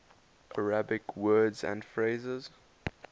arabic words and phrases